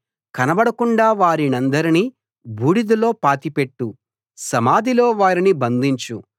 కనబడకుండా వారినందరినీ బూడిదలో పాతిపెట్టు సమాధిలో వారిని బంధించు